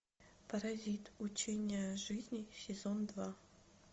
паразит учение о жизни сезон два